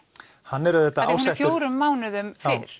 hann er auðvitað ásettur fjórum mánuðum fyrr